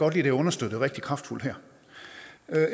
at det er understøttet rigtig kraftfuldt her